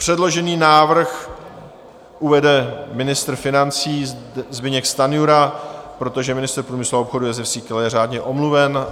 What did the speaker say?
Předložený návrh uvede ministr financí Zbyněk Stanjura, protože ministr průmyslu a obchodu Jozef Síkela je řádně omluven.